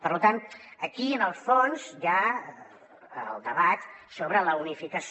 per tant aquí en el fons hi ha el debat sobre la unificació